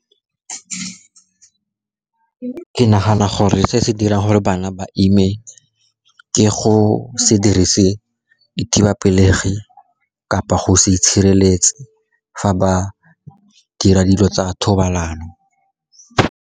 Ke nagana gore se se dirang gore bana ba ime ke go se dirise dithibapelegi, kapa go se itshireletse fa ba dira dilo tsa thobalano.